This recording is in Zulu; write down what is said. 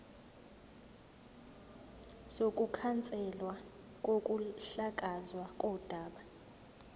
sokukhanselwa kokuhlakazwa kodaba